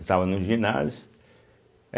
Estava no ginásio é.